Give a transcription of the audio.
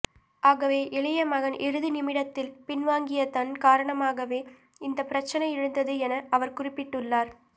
ஆகவே இளைய மகன் இறுதி நிமிடத்தில் பின்வாங்கியதன் காரணமாகவே இந்த பிரச்சினை எழுந்தது என அவர் குறிப்பிட்டுள்ளார்